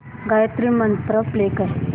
Gayatri mantra play कर